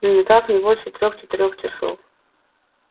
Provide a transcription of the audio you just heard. ну никак не больше трех-четырех часов